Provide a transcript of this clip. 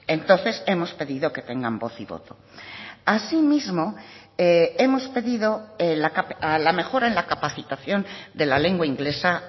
entonces hemos pedido que tengan voz y voto asimismo hemos pedido la mejora en la capacitación de la lengua inglesa